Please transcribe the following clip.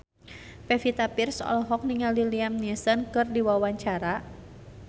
Pevita Pearce olohok ningali Liam Neeson keur diwawancara